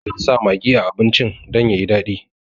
Ana sa magi a abincin dan yayi daɗi